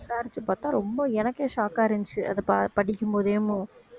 விசாரிச்சுப் பாத்தா ரொம்ப எனக்கே shock ஆ இருந்துச்சு அத ப~ படிக்கும் போதே